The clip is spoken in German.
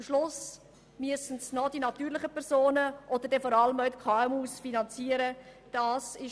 Am Schluss müssen diese ausschliesslich von den natürlichen Personen und vor allem auch von den KMU finanziert werden.